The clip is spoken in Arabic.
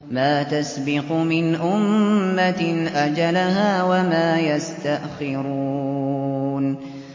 مَّا تَسْبِقُ مِنْ أُمَّةٍ أَجَلَهَا وَمَا يَسْتَأْخِرُونَ